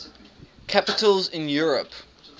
capitals in europe